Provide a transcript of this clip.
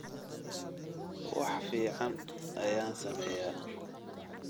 wax fiican ayaan sameeyaa